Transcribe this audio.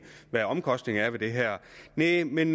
hvad omkostningerne ved det her er men